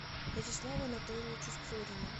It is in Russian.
вячеславу анатольевичу сурину